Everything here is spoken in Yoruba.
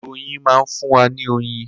Kòkòrò oyin ma ń fún wa ní oyin.